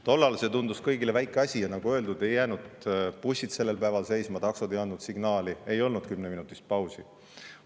Tollal see tundus kõigile väike asi ja nagu öeldud, ei jäänud bussid sellel päeval seisma, taksod ei andnud signaali, ei olnud kümneminutilist pausi.